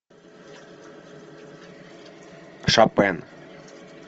шопен